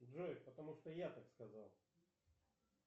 джой потому что я так сказал